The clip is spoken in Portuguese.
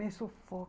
Me